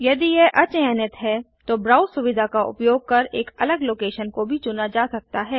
यदि यह अचयनित है तो ब्राउज़ सुविधा का उपयोग कर एक अलग लोकेशन को भी चुना जा सकता है